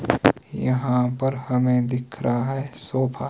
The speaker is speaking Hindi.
यहां पर हमे दिख रहा है सोफा --